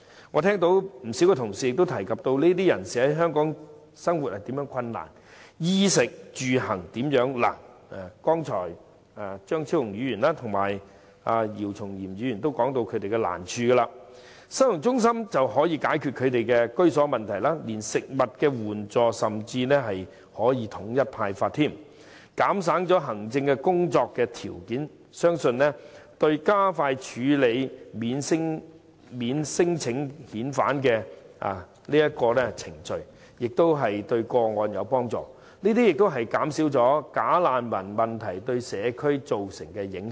我聽到不少同事曾提及這些人士在香港的生活及衣食住行方面如何困難——張超雄議員及姚松炎議員均提及他們的難處——收容中心可解決他們的居住問題，甚至連帶食物援助亦可統一派發，減省行政工作之餘，相信對加快處理免遣返聲請的個案亦有幫助，這亦可以減少"假難民"問題對社區造成的影響。